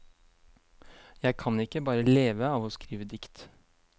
Jeg kan ikke bare leve av å skrive dikt.